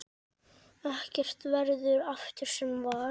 Ekkert verður aftur sem var.